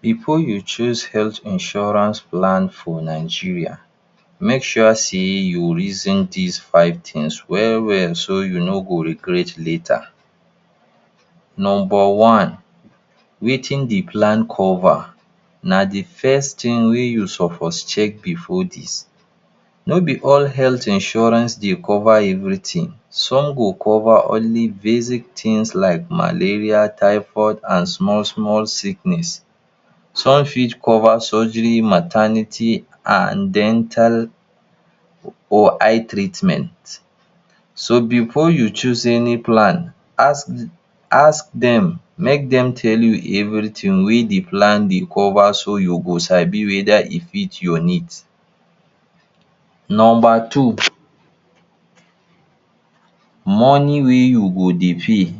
Before you choose health insurance plan for Nigeria, make sure sey you reason dis five things well well so you no go regret later. Number one, wetin de plan cover. Na de first thing wey you suppose check before dis, no be all health insurance dey cover everything some go cover basic things like malaria, typhoid and small small sickness. Some fit cover surgery, maternity and dental or eye treatment. So before you choose any plan ask ask dem, make dem tell you everything wey de plan dey cover so you go sabi whether e fit your needs. Number two, money wey you go dey pay.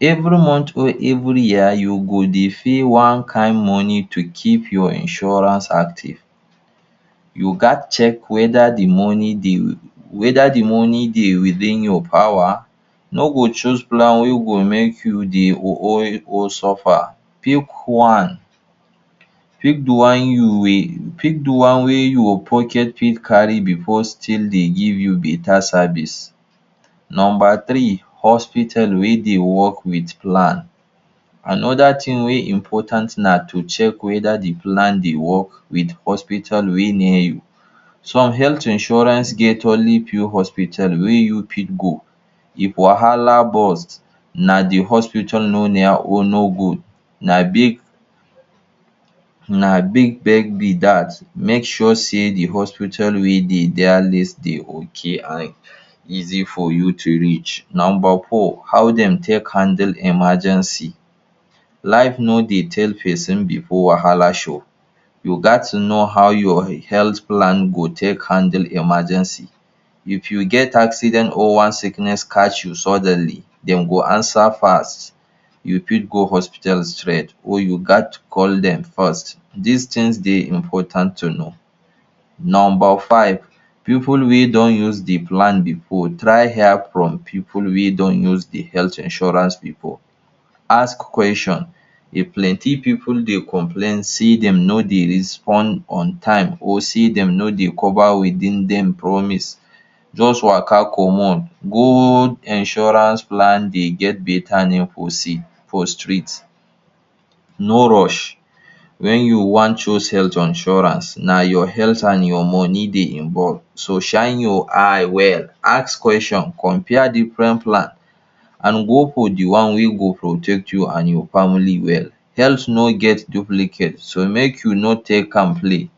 Every month every year you go dey pay one kind money to keep your insurance active you ghats check whether de money dey whether de money dey within your power. No go choose plan wey go make you dey? suffer. Pick one pick de one you will pick de one wey your pocket fit carry before still dey give you better service. Number three, hospital wey dey work wit plan. Another things wey important na to check whether de plan dey work hospital wey dey near you. Some health issuance get only few hospital wey you fit go, if wahala burst na de hospital no near or no good na big na big? be dat, make sure sey de hospital wey dey? dey okay and easy for you to reach. Number four, how dem take handle emergency. Life no dey tell person before wahala show, you ghats know how your health plan go take handle emergency. If you get accident or one sickness catch you suddenly dem go answer fast you fit go hospital straight or you ghats call dem first, dis things dey important to know. Number five, pipu wey don use de plan before, try hear from pipu wey don use the health issuance before. Ask questions if plenty pipu dey complain sey dem no dey respond on time or sey dem no dey cover within dem promise just waka comot. Good insurance plan dey get better name for seed for street. No rush wen you wan choose health insurance na your health and your money dey involve so shine your eye well, ask question compare different plans and go for de one wey go protect you and your family well. Health no get duplicate so make you no take am play.